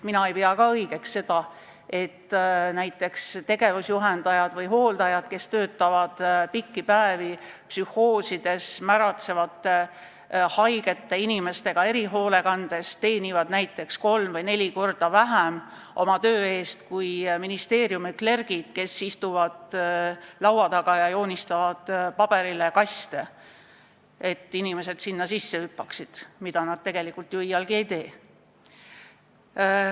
Ma ei pea näiteks õigeks, et tegevusjuhendajad ja hooldajad, kes töötavad pikki päevi psühhoosi all kannatavate märatsevate ja muude haigete inimestega erihoolekandes, teenivad oma töö eest kolm või neli korda vähem kui ministeeriumide "klergid", kes istuvad laua taga ja joonistavad paberile kaste, et inimesed sinna sisse hüppaksid, mida nad tegelikult ju iialgi ei tee.